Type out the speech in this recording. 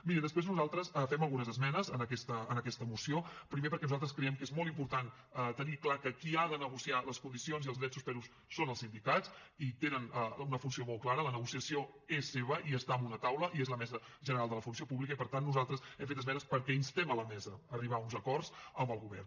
miri després nosaltres fem algunes esmenes en aquesta moció primer perquè nosaltres creiem que és molt important tenir clar que qui ha de negociar les condicions i els drets suspesos són els sindicats i tenen una funció molt clara la negociació és seva i està en una taula i és la mesa general de la funció pública i per tant nosaltres hem fet esmenes perquè instem la mesa a arribar a uns acords amb el govern